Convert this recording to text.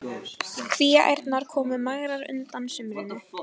Kvíaærnar komu magrar undan sumrinu.